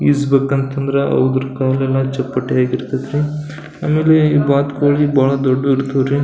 ಈಜ್ ಬೇಕಂತಂದ್ರ ಅವುದ್ರದ್ ಕಾಲೆಲ್ಲ ಚಪ್ಪಟೆ ಆಗಿರತೈತ್ರಿ ಆಮೇಲೆ ಈ ಬಾತುಕೋಳಿ ಬಹಳ ದೊಡ್ಡದ್ ಇರ್ತವ್ ರೀ.